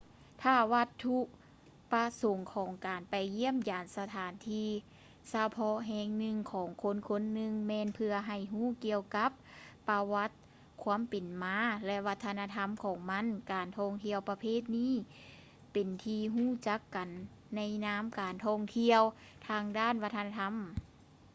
ຖ້າວັດຖຸປະສົງຂອງການໄປຢ້ຽມຢາມສະຖານທີ່ສະເພາະແຫ່ງໜຶ່ງຂອງຄົນໆໜຶ່ງ ແມ່ນເພື່ອໃຫ້ຮູ້ກ່ຽວກັບປະຫວັດຄວາມເປັນມາ ແລະ ວັດທະນະທຳຂອງມັນ ການທ່ອງທ່ຽວປະເພດນີ້ເປັນທີ່ຮູ້ຈັກກັນໃນນາມ ການທ່ອງທ່ຽວທາງດ້ານວັດທະນະທຳ